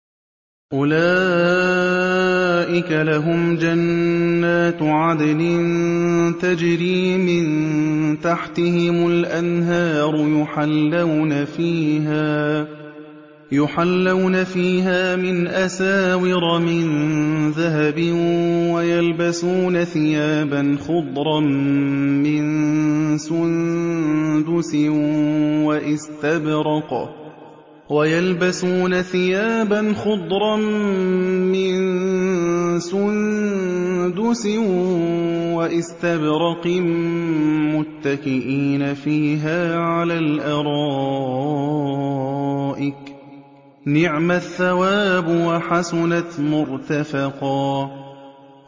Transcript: أُولَٰئِكَ لَهُمْ جَنَّاتُ عَدْنٍ تَجْرِي مِن تَحْتِهِمُ الْأَنْهَارُ يُحَلَّوْنَ فِيهَا مِنْ أَسَاوِرَ مِن ذَهَبٍ وَيَلْبَسُونَ ثِيَابًا خُضْرًا مِّن سُندُسٍ وَإِسْتَبْرَقٍ مُّتَّكِئِينَ فِيهَا عَلَى الْأَرَائِكِ ۚ نِعْمَ الثَّوَابُ وَحَسُنَتْ مُرْتَفَقًا